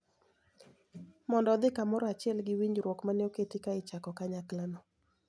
Mondo odhi kamoro achiel gi winjruok mane oketi ka ichako kanyakla no